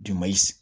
Jama